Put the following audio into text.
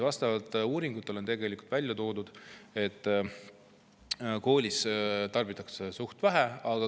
Uuringutes on välja toodud, et koolis tarbitakse seda suhteliselt vähe.